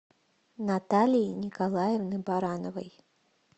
наталии николаевны барановой